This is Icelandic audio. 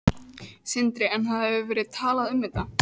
Sindri: En það hefur verið talað um þetta?